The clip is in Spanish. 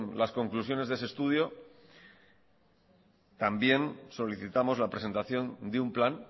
las conclusiones de ese estudio también solicitamos la presentación de un plan